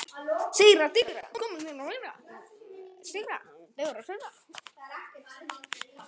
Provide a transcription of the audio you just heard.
Ágústa Ýr.